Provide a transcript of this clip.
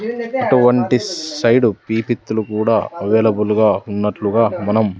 అటువంటి సైడు పీపిత్తులు కూడా అవైలబుల్ గా ఉన్నట్లుగా మనం--